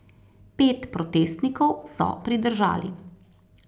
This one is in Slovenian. Pet protestnikov so pridržali.